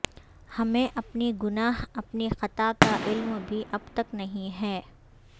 ہمیں اپنے گناہ اپنی خطا کا علم بھی اب تک نہیں ہے